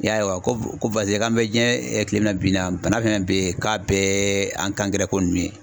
I y'a ye wa ko k'an bɛ diɲɛ tilema bi naani bana fɛn fɛn bɛbi k'a bɛɛ ko ninnu ye